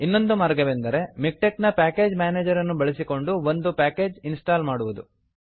ಇನ್ನೊಂದು ಮಾರ್ಗವೆಂದರೆ ಮಿಕ್ಟೆಕ್ ನ ಪ್ಯಾಕೆಜ್ ಮ್ಯಾನೇಜರನ್ನು ಬಳಸಿಕೊಂಡು ಒಂದು ಪ್ಯಾಕೇಜನ್ನು ಇನ್ಸ್ಟಾಲ್ ಮಾಡುವುದು